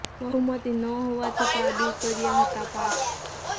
બહુમતિ ન હોવા છતા આ બિલ કર્યા હતા પાસ